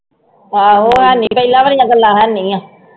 ਆਹੋ ਹੈਨੀ ਪਿਹਲੀਆਂ ਵਾਲੀਆ ਗੱਲਾਂ ਹੈਨੀ ਆ